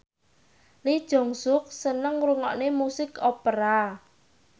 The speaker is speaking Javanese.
Lee Jeong Suk seneng ngrungokne musik opera